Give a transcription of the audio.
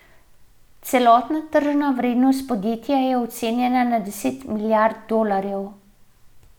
Celotna tržna vrednost podjetja je ocenjena na deset milijard dolarjev.